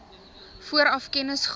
vooraf kennis gehad